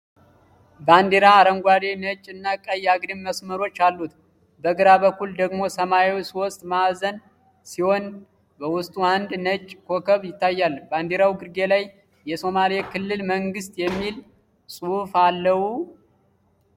ባንዲራ አረንጓዴ፣ ነጭ እና ቀይ አግድም መስመሮች አሉት። በግራ በኩል ደግሞ ሰማያዊ ሦስት ማዕዘን ሲሆን፣ በውስጡ አንድ ነጭ ኮከብ ይታያል። ባንዲራው ግርጌ ላይ “የሶማሌ ክልል መንግሥት” የሚል ጽሑፍ አለው?